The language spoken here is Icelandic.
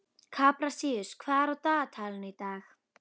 Kaprasíus, hvað er á dagatalinu í dag?